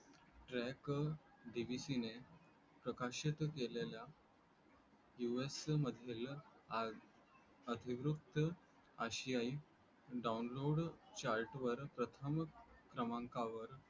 trackDBC ने प्रकाशित केलेल्या US मधल्या आदी ग्रुप आशियाई download chart वर प्रथम प्रमांकावर